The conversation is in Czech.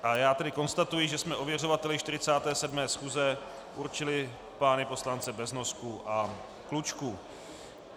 A já tedy konstatuji, že jsme ověřovateli 47. schůze určili pány poslance Beznosku a Klučku.